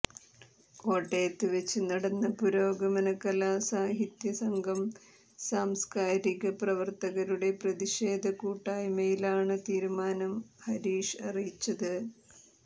കോട്ടയത്ത് വെച്ച് നടന്ന പുരോഗമന കലാസാഹിത്യ സംഘം സാംസ്കാരിക പ്രവര്ത്തകരുടെ പ്രതിഷേധ കൂട്ടായ്മയിലാണ് തീരുമാനം ഹരീഷ് അറിയിച്ചത്